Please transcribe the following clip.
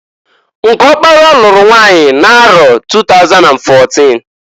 Nke ọkpara lụrụ nwanyi n'arọ 2014.